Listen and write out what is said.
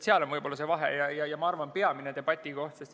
Seal on võib-olla see vahe ja ma arvan, et peamine debati koht.